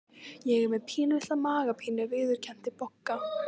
Ég er með pínulitla magapínu viðurkenndi Bogga.